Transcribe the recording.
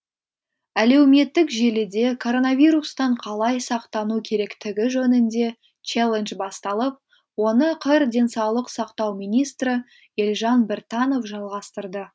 әлеуметтік желіде короновирустан қалай сақтану керектігі жөнінде челлендж басталып оны қр денсаулық сақтау министрі елжан біртанов жалғастырды